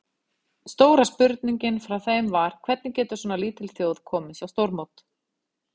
Stóra spurningin frá þeim var, hvernig getur svona lítil þjóð komist á stórmót?